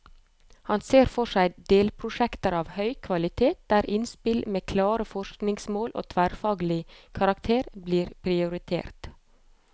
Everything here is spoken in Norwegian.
Han ser for seg delprosjekter av høy kvalitet, der innspill med klare forskningsmål og tverrfaglig karakter blir prioritert.